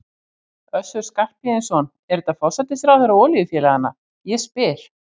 Össur Skarphéðinsson: Er þetta forsætisráðherra olíufélaganna, ég spyr?